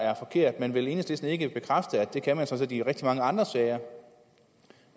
er forkert men vil enhedslisten ikke bekræfte at det kan man sådan i rigtig mange andre sager